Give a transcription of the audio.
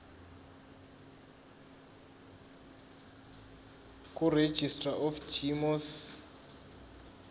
kuregistrar of gmos